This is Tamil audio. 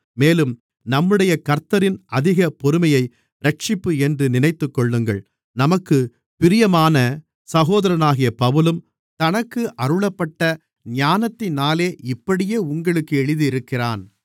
மேலும் நம்முடைய கர்த்தரின் அதிகப் பொறுமையை இரட்சிப்பு என்று நினைத்துக்கொள்ளுங்கள் நமக்குப் பிரியமான சகோதரனாகிய பவுலும் தனக்கு அருளப்பட்ட ஞானத்தினாலே இப்படியே உங்களுக்கு எழுதியிருக்கிறான்